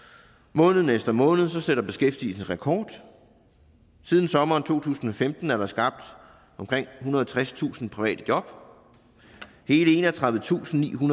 måned efter måned sætter beskæftigelsen rekord siden sommeren to tusind og femten er der skabt omkring ethundrede og tredstusind private job hele enogtredivetusinde